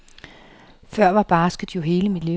Før var basket jo hele mit liv.